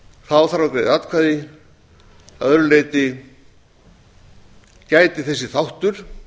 þá þarf að greiða atkvæði að öðru leyti gæti þessi þáttur